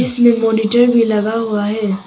इसमें मॉनिटर भी लगा हुआ है।